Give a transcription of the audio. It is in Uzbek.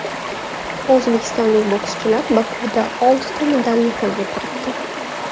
O‘zbekistonlik bokschilar Bokuda oltita medalni qo‘lga kiritdi.